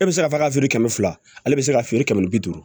E bɛ se k'a fɔ k'a feere kɛmɛ fila ale bɛ se ka feere kɛmɛ ni bi duuru